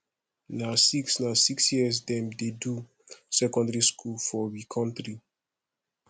na six na six years dem dey do secondary school for we country